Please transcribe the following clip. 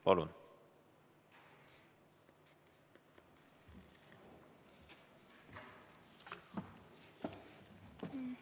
Palun!